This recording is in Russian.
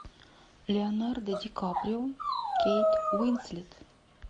леонардо ди каприо кейт уинслет